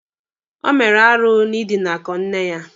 O mere arụ n'idinakọ nne ya